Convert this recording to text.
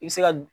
I bɛ se ka